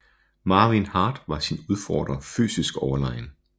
Marvin Hart var sin udfordrer fysisk overlegen